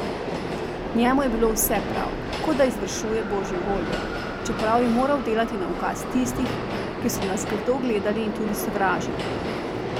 Njemu je bilo vse prav, kot da izvršuje božjo voljo, čeprav je moral delati na ukaz tistih, ki so nas grdo gledali in tudi sovražili.